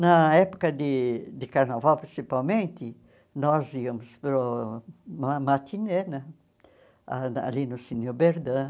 Na época de de carnaval, principalmente, nós íamos para o uma matinê, né ah ali no Cine Oberdan.